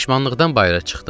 Peşmanlıqdan bayıra çıxdım.